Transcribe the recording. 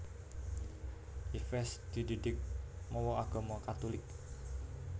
Yves dididik mawa agama Katulik